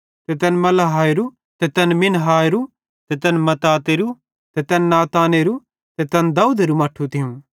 ते तैन मलेआहेरू ते तैन मिन्नाहेरो ते तैन मत्ततेरो ते तैन नातानेरो ते तैन दाऊदेरू मट्ठू थियूं